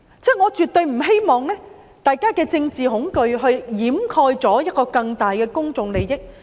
我絕對不希望大家讓政治恐懼掩蓋一個更大的公眾利益。